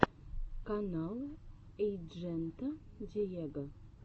канал эйджента диего